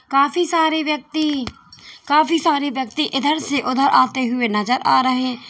काफी सारे व्यक्ति काफी सारे व्यक्ति इधर से उधर आते हुए नजर आ रहे--